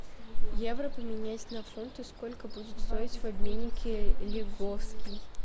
евро поменять на фунты сколько будет стоить в обменнике лиговский